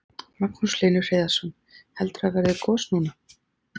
Magnús Hlynur Hreiðarsson: Heldurðu að verði gos núna?